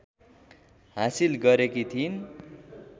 हासिल गरेकी थिइन्